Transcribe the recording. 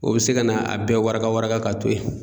O be se ka na a bɛɛ waraka waraka k'a ton yen